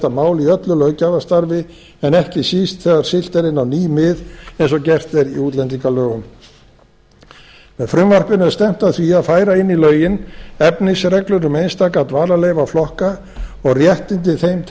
máli í öllu löggjafarstarfi en ekki síst þegar siglt er inn á ný mið eins og gert er í útlendingalögunum með frumvarpinu er stefnt að því að færa inn í lögin efnisreglur um einstaka dvalarleyfaflokka og réttindi þeim